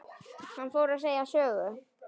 Hann fór að segja sögu.